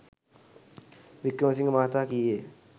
වික්‍රමසිංහ මහතා කීය.